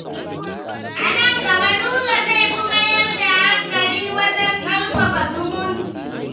A nan gaba, Nura zai fi mayar da hankali wajen ƙarfafa zumunci.